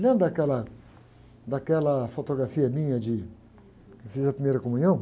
Lembra daquela, daquela fotografia minha de, que eu fiz a primeira comunhão?